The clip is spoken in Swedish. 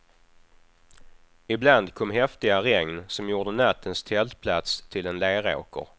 Ibland kom häftiga regn som gjorde nattens tältplats till en leråker.